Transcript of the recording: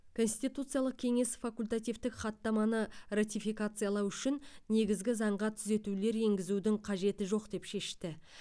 конституциялық кеңес факультативтік хаттаманы ратификациялау үшін негізгі заңға түзетулер енгізудің қажеті жоқ деп шешті